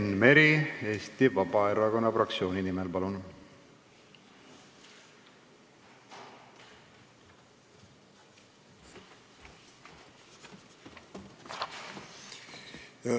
Enn Meri Eesti Vabaerakonna fraktsiooni nimel, palun!